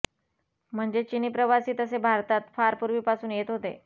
म्हणजे चिनी प्रवासी तसे भारतात फार पूर्वीपासून येत होते